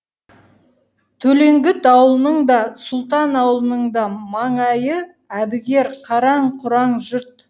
төлеңгіт аулының да сұлтан аулының да маңайы әбігер қараң құраң жұрт